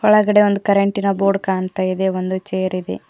ಒಳಗಡೆ ಒಂದು ಕರೆಂಟಿನ ಬೋರ್ಡ್ ಕಾಣ್ತಾ ಇದೆ ಒಂದು ಚೇರ್ ಇದೆ.